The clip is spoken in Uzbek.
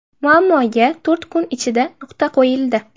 Muammoga to‘rt kun ichida nuqta qo‘yildi.